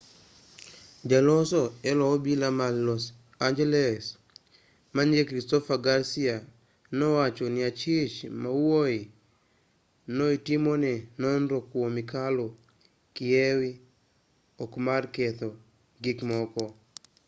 jaloso elo obila man los angeles manyinge christopher garcia nowacho ni achich mawuoyi no itimone nonro kuom kalo kiew ok mar ketho gikmoko